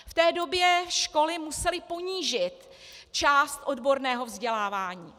V té době školy musely ponížit část odborného vzdělávání.